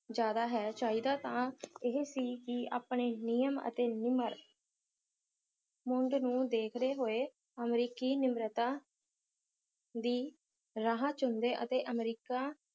ਜ਼ਿਆਦਾ ਹੈ ਚਾਹੀਦਾ ਤਾਂ ਇਹ ਸੀ ਕਿ ਆਪਣੇ ਨਿਯਮ ਅਤੇ ਨਿਮਰ ਦੇਖਦੇ ਹੋਏ ਅਮਰੀਕੀ ਨਿਮ੍ਰਤਾ ਦੀ ਰਾਹ ਚੁਣਦੇ ਅਤੇ ਅਮਰੀਕਾ